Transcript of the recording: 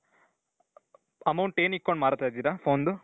amount ಏನ್ ಇಟ್ಕೊಂಡ್ ಮಾರ್ತಾ ಇದ್ದೀರಾ?